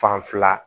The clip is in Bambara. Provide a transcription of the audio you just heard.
Fan fila